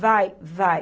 Vai, vai.